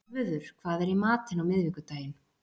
Svörfuður, hvað er í matinn á miðvikudaginn?